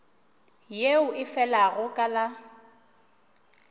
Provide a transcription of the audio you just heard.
yeo e felago ka la